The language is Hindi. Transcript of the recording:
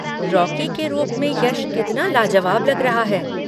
रॉकी के रूप में यश कितना लाजवाब लग रहा है।